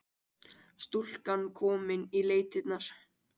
Stúlkan komin í leitirnar